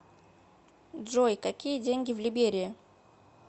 джой какие деньги в либерии